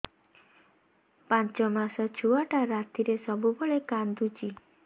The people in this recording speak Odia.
ପାଞ୍ଚ ମାସ ଛୁଆଟା ରାତିରେ ସବୁବେଳେ କାନ୍ଦୁଚି